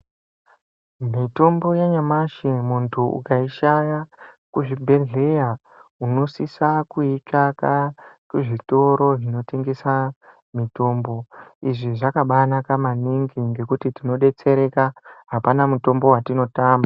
Mutombo yanyamashi muntu ukaishaya kuzvibhedhleya unosisa kuitsvaka kuzvitoro zvinotengesa mitombo Izvi zvakabaanaka maningi ngekuti tindodetsereka apana mutombo watinotama .